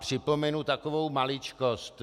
Připomenu takovou maličkost.